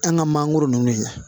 An ka mangoro ninnu ye